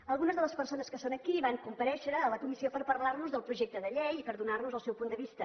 algunes de les persones que són aquí van comparèixer a la comissió per parlar nos del projecte de llei i per donar nos el seu punt de vista